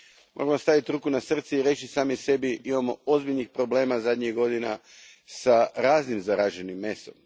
Moramo staviti ruku na srce i reći sami sebi, imamo ozbiljnih problema zadnjih godina s raznim zaraženim mesom.